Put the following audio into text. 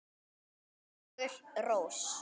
Sigur Rós.